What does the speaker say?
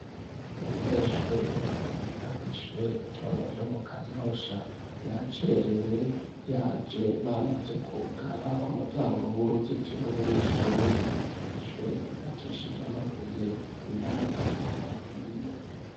Umunyeshure yiga kw'ishure ritonya ryo mu kanyosha yacerewe, yaje bamaze kwugara umuryango w'uruzitiro wiri shure, ishure ryubakishije amabuye n'amatafari ahiye.